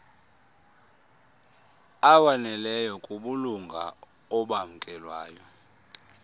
awaneleyo kubulunga obamkelweyo